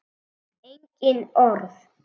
Engin orð.